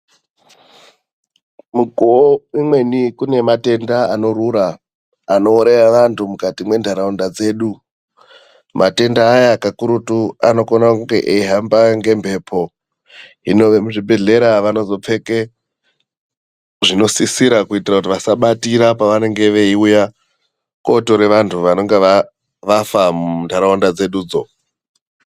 Mukuwo umweni kune matenda anorura, anouraya andu mukati mendaraunda dzedu. Matenda aya kakurutu anokona kunge eihamba ngemhepo hino vekuzvibhadhlera vanozo pfeke zvinosisira kuitira kuti vasabatire pavanenge veiuya kotora vandmtu vanenge vafa muntaraunda dzedudzo.